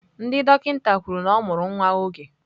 Ndị dọkịta kwuru na ọ mụrụ nwa oge.